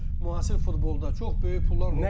müasir futbolda çox böyük pullar var.